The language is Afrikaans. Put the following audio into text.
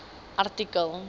artikel